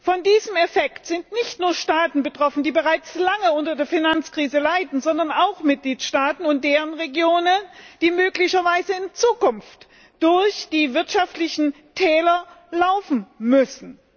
Von diesem Effekt sind nicht nur Staaten betroffen, die bereits lange unter der Finanzkrise leiden, sondern auch Mitgliedstaaten und deren Regionen, die möglicherweise in Zukunft durch die wirtschaftlichen Täler laufen müssen.